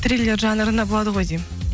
триллер жанрында болады ғой деймін